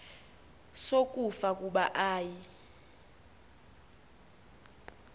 sokufa kuba ayi